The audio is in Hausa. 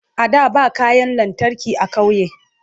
a da ba kayan lantarki a ƙauye